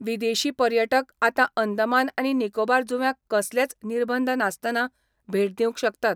विदेशी पर्यटक आतां अंदमान आनी निकोबार जुव्यांक कसलेच निर्बंध नासताना भेट दिवंक शकतात.